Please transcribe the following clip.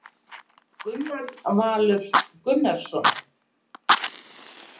Gunnar Valur Gunnarsson